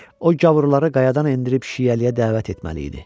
O gavurları qayadan endirib şiəliyə dəvət etməli idi.